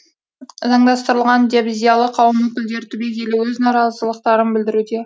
заңдастырылған деп зиялы қауым өкілдері түбегейлі өз наразылықтарын білдіруде